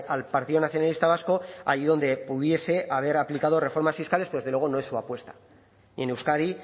al partido nacionalista vasco allí donde pudiese haber aplicado reformas fiscales pero desde luego no es su apuesta ni en euskadi